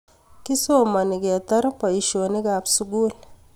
Kisomani ketar boishonik ab sukul